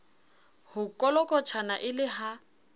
ho kolokotjhana e le ha